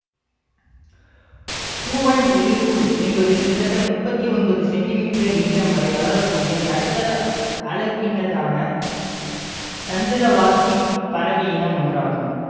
கூவொன் எழிற்புள் என்பது கிட்டத்தட்ட முப்பத்தி ஒன்பது சென்டிமீட்டர் நீளம் வரை வளர கூடிய நடுத்தர அளவினதான சந்திரவாசிப் பறவையினம் ஒன்றாகும்